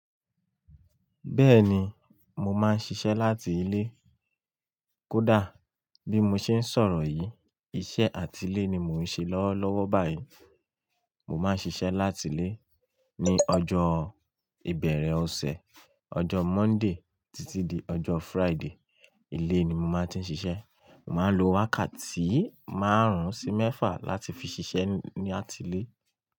Bẹ́ẹ̀ni, mo máa ń ṣiṣẹ́ láti ilé. Kódà bí mo ṣe ń sọ̀rọ̀ yìí, iṣẹ́ àtile ni mò ń ṣe lọ́wọ́lọ́wọ́ báyìí. Mo máa ń ṣiṣẹ́ láti ilé ní ọjọ́ ìbẹ̀rẹ̀ ọ̀sẹ̀, ọjọ́ Monday títí di ọjọ́ Friday. Ilé ni mo máa ń ti ṣiṣẹ́. Mo máa ń lo wákàtí márùn-ún sí mẹ́fà láti fi ṣiṣẹ́ ní àtile.